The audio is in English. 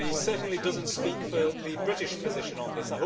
He certainly does not speak for the British position on this.